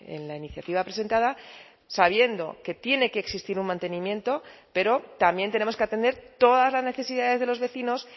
en la iniciativa presentada sabiendo que tiene que existir un mantenimiento pero también tenemos que atender todas las necesidades de los vecinos